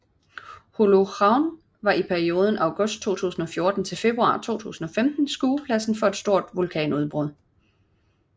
Holuhraun var i perioden august 2014 til februar 2015 skuepladsen for et stort vulkanudbrud